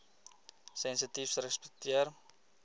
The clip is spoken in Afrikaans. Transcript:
sensitiefrespekteer